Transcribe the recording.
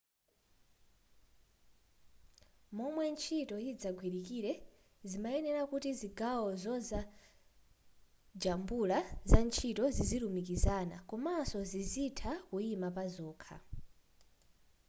momwe ntchito yidzagwilikire zimayenera kuti zigawo zazojambula zantchito zizilumikizana komanso zizitha kuima pazokha